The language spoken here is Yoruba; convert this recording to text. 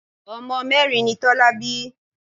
Ọmọ mẹ́rin ni Tọ́lá bí.